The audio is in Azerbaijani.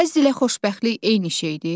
Həzz ilə xoşbəxtlik eyni şeydir?